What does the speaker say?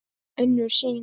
Önnur sýn